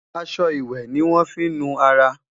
aṣọ ìwé ní wón fí nu ará